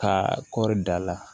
Ka kɔri da la